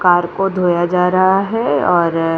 car को धोया जा रहा है और --